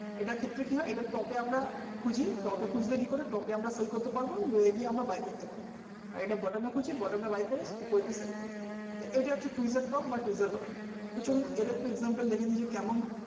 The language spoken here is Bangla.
এটার ক্ষেত্রে কী হয় এটার পক্ষে আমরা proper খুজে এটার documents হিসাবে candle